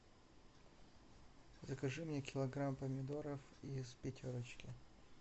закажи мне килограмм помидоров из пятерочки